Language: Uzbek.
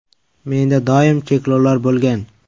Menda doim cheklovlar bo‘lgan.